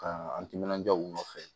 Ka an timinandiya u nɔfɛ